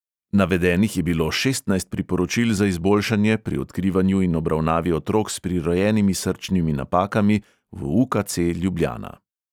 Navedenih je bilo šestnajst priporočil za izboljšanje pri odkrivanju in obravnavi otrok s prirojenimi srčnimi napakami v u|ka|ce ljubljana.